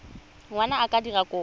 ngwana a ka dira kopo